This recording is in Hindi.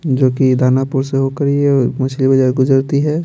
जो कि दानापुर से होकर ये मछली बाजार गुजरती है।